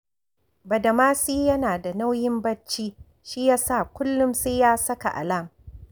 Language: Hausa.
Badamasi yana da nauyin barci, shi ya sa kullum sai ya saka alam